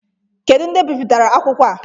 Kedu ndị bipụtara akwụkwọ a?